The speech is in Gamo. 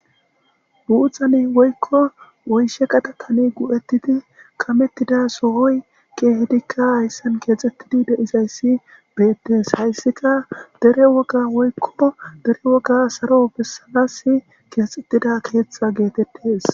Bu,uthani woykko woyshe qatatani gu7ettidi kamettida sohoy keehidikka hayssan keexxettidi de7izayssi beettes hayssika dere woga woykko dere woga saro bessanas keexxettida keeththa geetettes